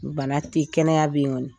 Bana tɛ kɛnɛya bɛ yen kɔni